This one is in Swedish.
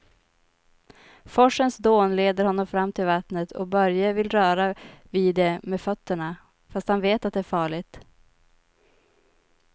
Forsens dån leder honom fram till vattnet och Börje vill röra vid det med fötterna, fast han vet att det är farligt.